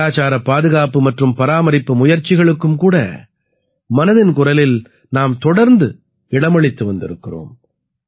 கலாச்சாரப் பாதுகாப்பு மற்றும் பராமரிப்பு முயற்சிகளுக்கும் கூட மனதின் குரலில் நாம் தொடர்ந்து இடமளித்து வந்திருக்கிறோம்